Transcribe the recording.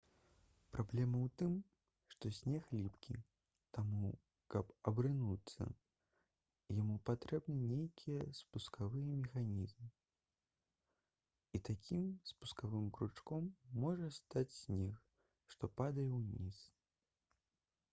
праблема ў тым што снег ліпкі таму каб абрынуцца яму патрэбны нейкі спускавы механізм і такім спускавым кручком можа стаць снег што падае ўніз